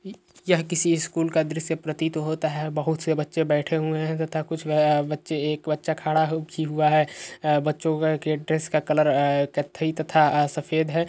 इ यह किसी स्कूल का दृश्य प्रतीत होता है बहोत से बच्चे बैठे हुए हैं तथा कुछ अ बच्चे एक बच्चा खड़ा भी हुआ है बच्चो का ड्रेस का कलर अ कत्थई तथा अ सफेद है।